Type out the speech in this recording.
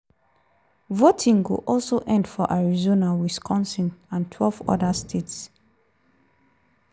voting go also end for arizona wisconsin and twelve oda states.